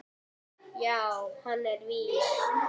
Já, hann er vís.